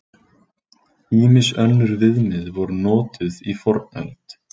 Ýmis önnur viðmið voru notuð í fornöld.